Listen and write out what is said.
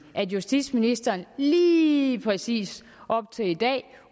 at justitsministeren lige præcis op til i dag